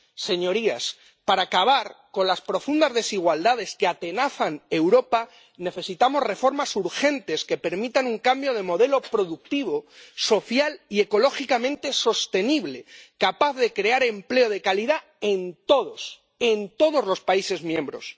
Señorías, para acabar con las profundas desigualdades que atenazan a Europa necesitamos reformas urgentes, que permitan un cambio de modelo productivo, social y ecológicamente sostenible, capaz de crear empleo de calidad en todos, en todos los países miembros.